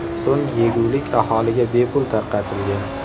So‘ng yegulik aholiga bepul tarqatilgan.